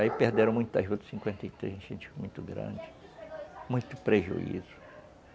Aí perderam muita juta em cinquenta e três, enchente muito grande, muito prejuízo.